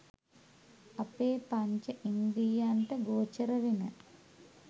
අපේ පංචඉන්ද්‍රියයන්ට ගෝචර වෙන